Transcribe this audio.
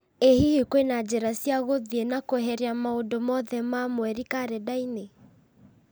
ĩ hihi kwĩna njĩra cia gũthiĩ na kweheria maũndũ mothe ma mweri karenda-inĩ